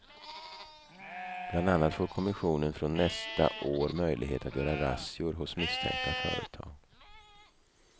Bland annat får kommissionen från nästa år möjlighet att göra razzior hos misstänkta företag.